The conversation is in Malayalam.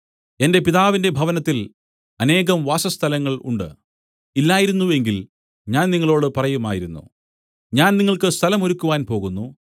എന്റെ പിതാവിന്റെ ഭവനത്തിൽ അനേകം വാസസ്ഥലങ്ങൾ ഉണ്ട് ഇല്ലായിരുന്നു എങ്കിൽ ഞാൻ നിങ്ങളോടു പറയുമായിരുന്നു ഞാൻ നിങ്ങൾക്ക് സ്ഥലം ഒരുക്കുവാൻ പോകുന്നു